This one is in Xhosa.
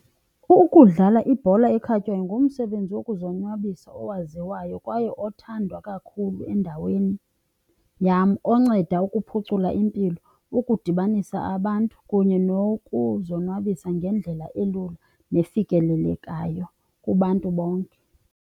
Ukudlala ibhola ekhatywayo ngumsebenzi wokuzonwabisa owaziwayo kwaye othandwa kakhulu endaweni yam. Onceda ukuphucula impilo, ukudibanisa abantu kunye nokuzonwabisa ngendlela elula nefikelelekayo kubantu bonke.